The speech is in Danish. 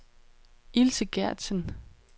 Ilse Gertsen